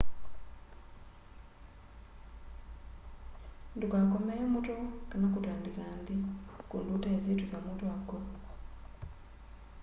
ndukakomee muto kana kutandika nthi kundu utesi tusamu twa kwo